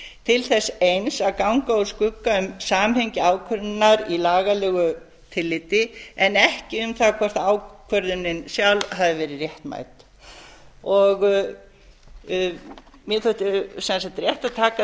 til þess eins að ganga úr skugga um samhengi ákvörðunar í lagalegu tilliti en ekki um það hvort ákvörðunin sjálf hafi verið réttmæt mér þótti sem sagt rétt að taka